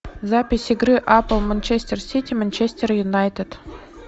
запись игры апл манчестер сити манчестер юнайтед